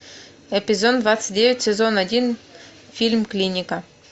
эпизод двадцать девять сезон один фильм клиника